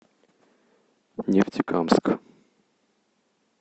нефтекамск